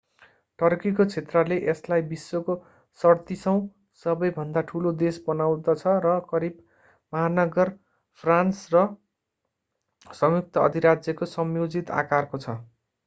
टर्कीको क्षेत्रले यसलाई विश्वको 37औँ सबै भन्दा ठूलो देश बनाउँदछ र करिब महानगर फ्रान्स र संयुक्त अधिराज्यको संयोजित आकारको छ